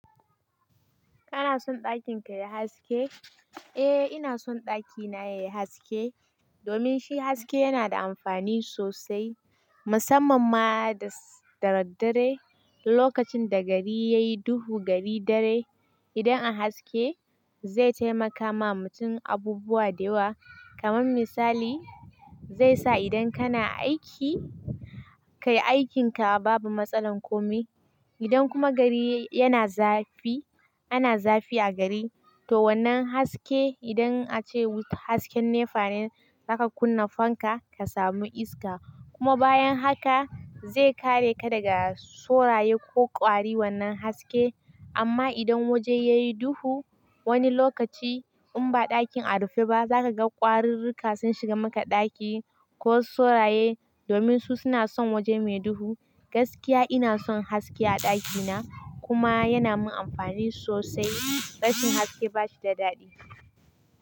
Kana son ɗakin ka yayi haske? Eh ina son ɗakina yayi haske. Domin shi haske yana da amfani sosai. Musamman ma da daddare. Lokacin da gari yayi duhu, gari dare idan an haske zai taimaka ma mutum abubuwa da yawa. Kaman misali, zai sa idan kana aiki, ka yi aikinka babu matsalan kome. Idan kuma gari yana zafi, ana zafi a gari to wannan haske idan ace hasken ne fane zaka kunna fanka ka samu iska. Kuma bayan haka zai kare ka daga soraye ko ƙwari wannan haske. Amma idan waje yayi duhu wani lokaci in ba ɗakin a rufe ba zaka ga ƙwaruruka sun shiga maka ɗaki ko soraye. Domin su suna son waje mai duhu. Gaskiya ina son haske a ɗakina kuma yana min amfani sosai. Ɗakin haske bashi da daɗi.